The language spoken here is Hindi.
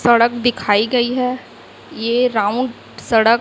सड़क दिखाई गई है ये राउंड सड़क--